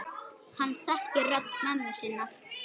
Hann þekkir rödd mömmu sinnar.